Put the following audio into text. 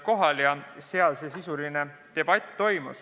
Toimus sisuline debatt.